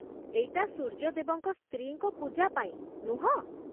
ଏଇଟା ସୂର୍ଯ୍ୟଦେବଙ୍କ ସ୍ତ୍ରୀଙ୍କ ପୂଜା ପାଇଁ, ନୁହଁ?